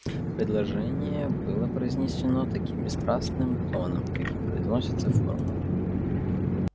предложение было произнесено таким бесстрастным тоном каким произносятся формулы